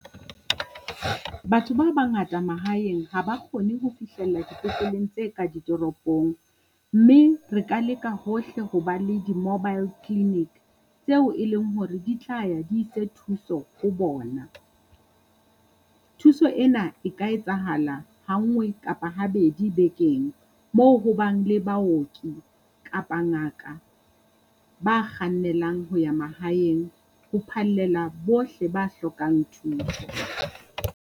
Batho ba bangata mahaeng ha ba kgone ho fihlella dipetleleng tse ka ditoropong, mme re ka leka hohle ho ba le di-mobile clinic tseo e leng hore di tla ya di ise thuso ho bona. Thuso ena e ka etsahala ha ngwe kapa habedi bekeng, moo ho bang le baoki kapa ngaka ba kgannelang ho ya mahaeng ho phallela bohle ba hlokang thuso.